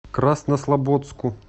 краснослободску